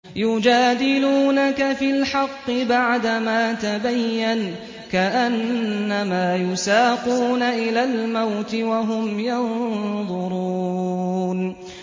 يُجَادِلُونَكَ فِي الْحَقِّ بَعْدَمَا تَبَيَّنَ كَأَنَّمَا يُسَاقُونَ إِلَى الْمَوْتِ وَهُمْ يَنظُرُونَ